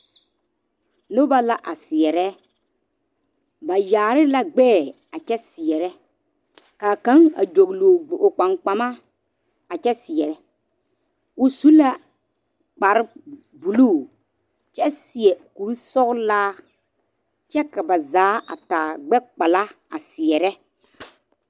Noba la a seɛre ba yaare la gbeɛ a kyɛ seɛrɛ kaa kaŋa a dolɔ o kpaŋ kpama a kyɛ seɛre o su la kpare buluu kyɛ seɛ kuri sɔglaa kyɛ ka ba zaa a taa gbekpala a seɛre.